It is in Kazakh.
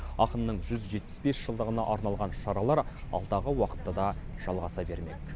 ақынның жүз жетпіс бес жылдығына арналған шаралар алдағы уақытта да жалғаса бермек